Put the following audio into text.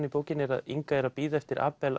í bókinni er að Inga er að bíða eftir